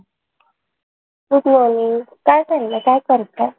Good morning. काय चाललंय? काय करताय?